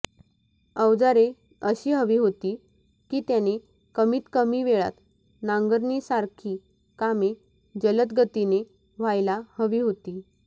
अवजारे अशी हवी होती की त्याने कमीतकमी वेळात नांगरणीसारखी कामे जलद गतीने व्हायला हवी होती